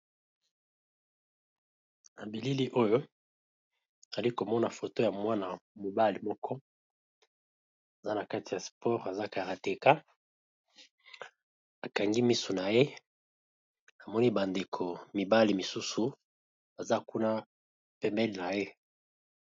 Na bilili oyo zali komona foto ya mwana mobale moko aza na kati ya sport aza karateka akangi miso na ye amoni bandeko mibale misusu aza kuna pembele na ye.